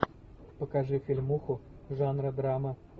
покажи фильмуху жанра драма